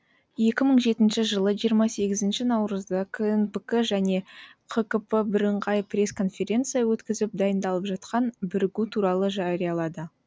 екі мың жетінші жылы жиырма сегізінші наурызда кнпк және қкп біріңғай пресс конференция өткізіп дайындалып жатқан бірігу туралы жариялады